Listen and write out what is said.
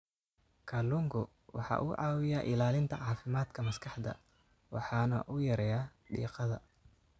Kalluunku waxa uu caawiyaa ilaalinta caafimaadka maskaxda waxana uu yareeyaa diiqada.